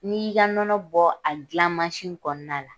N'i y'i ka nɔnɔ bɔ a gilan kɔnɔna la